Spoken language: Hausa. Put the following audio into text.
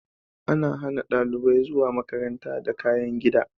An hana dalibai zuwa makaranta da kayan gida.